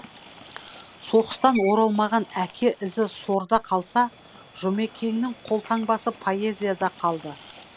соғыстан оралмаған әке ізі сорда қалса жұмекеннің қолтаңбасы поэзияда қалды